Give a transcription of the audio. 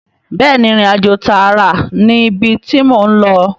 Bẹ́ẹ̀ni ìrìnàjò tààrà ni ibi tí mò ń lọ